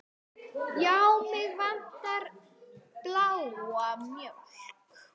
Já, mig vantar bláa mjólk.